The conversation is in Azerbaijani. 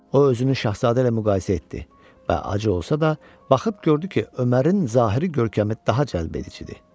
O özünü şahzadə ilə müqayisə etdi və acı olsa da, baxıb gördü ki, Ömərin zahiri görkəmi daha cəlbedicidir.